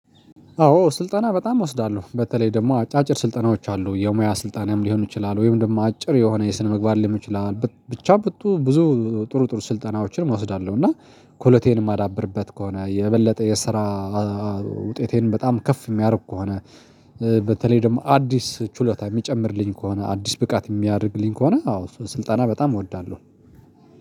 አዎ ስልጠና በጣም እወስዳለሁ በተለይ ደግሞ አጫጭር ስልጠናዎች አሉ የሙያ ስልጣንም ሊሆኑ ይችላል ወይም ደግሞ አጭር የሆነ የስነምግባር ሊሆን ይችላል ብቻ ብት ብዙ ጥሩ ጥሩ ስልጠናዎችን እወስዳለሁ። እና ክህሎቴን የማዳብርበት ከሆነ የበለጠ የስራ ውጤቴን በጣም ከፍ የሚያደርግ ከሆነ በተለይ ደግሞ አዲስ ችሎታ የሚጨምርልኝ ከሆነ አዲስ ብቃት የሚያደርግልኝ ከሆነ አዎ ስልጠና በጣም እወዳለሁ።